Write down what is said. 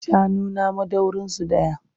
Shanuna dubu madaurinsu ɗaya.